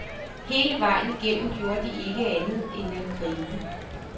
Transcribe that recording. Hele vejen igennem gjorde de ikke andet end at grine.